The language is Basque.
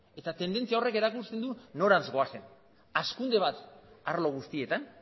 eta tendentzia horrek erakusten du norantz goazen hazkunde bat arlo guztietan